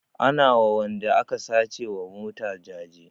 Ana wa wanda aka sace wa mota jaje